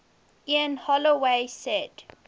ian holloway said